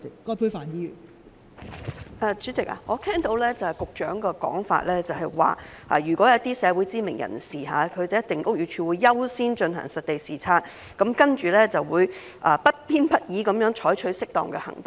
代理主席，我聽到局長的說法，就是如果是一些社會知名人士，屋宇署會優先進行實地視察，然後會不偏不倚地採取適當的行動。